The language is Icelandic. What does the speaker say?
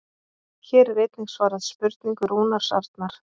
Hér er einnig svarað spurningu Rúnars Arnar: